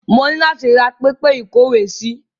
Mo ni láti ra pẹpẹ ìkówèésí.